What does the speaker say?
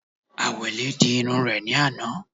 Àwẹ̀lé di irun rẹ̀ ní àná